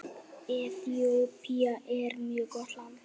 Eþíópía er mjög gott land.